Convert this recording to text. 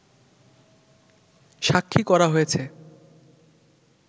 সাক্ষী করা হয়েছে